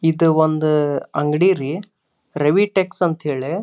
ಇದು ಒಂದು ಅಂಗಡಿ ರೀ ರೇವಿಟ್ಸ್ ಅಂತ ಹೇಳಿ.